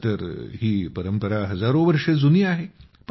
तसं तर ही परंपरा हजारो वर्ष जुनी आहे